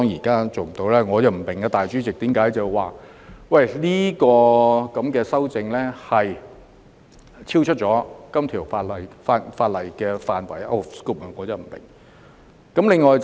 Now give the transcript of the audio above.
其實，我不明白主席為何指我的修正案超出《條例草案》的範圍，我真的不明白。